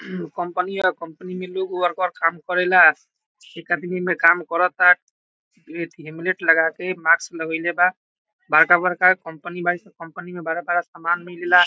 Company है company में लोग वर्कर काम करेला एक आदमी इ मे काम करेला हेलमेट लगा के मास्क लगेइले बा बड़का-बड़का कंपनी बा इ सब कंपनी में बड़ा बड़ा समान भी मिले ला।